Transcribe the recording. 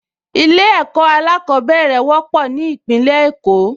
Ilé-ẹ̀kọ́ alákọ̀ọ́bẹ̀rẹ̀ wọ́pọ̀ ní Ìpínlẹ̀ Èkó